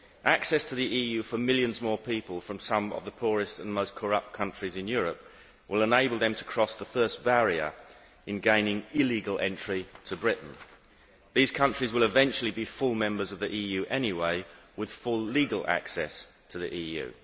Access to the EU for millions more people from some of the poorest and most corrupt countries in Europe will enable them to cross the first barrier in gaining illegal entry to Britain. These countries will eventually be full members of the EU anyway, with full legal access to the EU.